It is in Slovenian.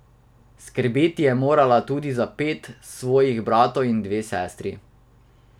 Skrbeti je morala tudi za pet svojih bratov in dve sestri.